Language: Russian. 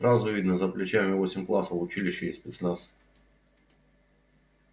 сразу видно за плечами восемь классов училище и спецназ